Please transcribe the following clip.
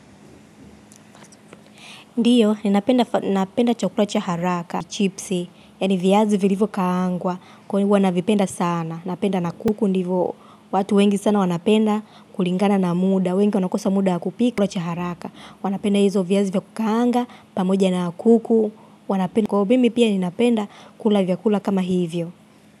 Ndiyo, ninapenda chakula cha haraka, chipsi, yani viazi vilivyo kaangwa, kwa hivo navipenda sana. Napenda na kuku, ndivyo watu wengi sana wanapenda kulingana na muda, wengi wanakosa muda wa kupika chakula cha haraka. Wanapenda hizo viazi vya kukaanga, pamoja na kuku, wanapenda. Kwa hivo mi pia ninapenda, kula vyakula kama hivyo.